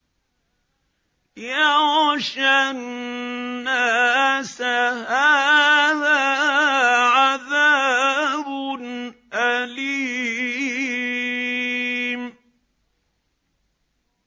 يَغْشَى النَّاسَ ۖ هَٰذَا عَذَابٌ أَلِيمٌ